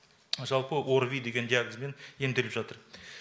жалпы орви деген диагнозбен емделіп жатыр